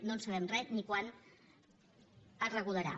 no en sabem res ni quan es regularà